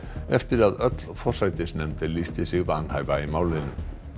eftir að öll forsætisnefnd lýsti sig vanhæfa í málinu